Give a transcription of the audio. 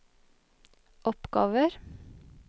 oppgaver